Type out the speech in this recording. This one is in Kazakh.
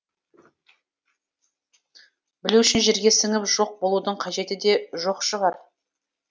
білу үшін жерге сіңіп жоқ болудың қажеті де жоқ шығар